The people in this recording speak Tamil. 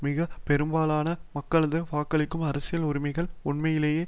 மிக பெரும்பாலான மக்களது வாக்களிக்கும் அரசியல் உரிமைகள் உண்மையிலேயே